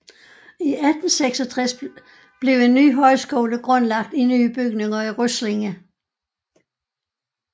I 1866 blev en ny højskole grundlagt i nye bygninger i Ryslinge